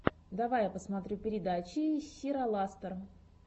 давай я посмотрю передачи сираластор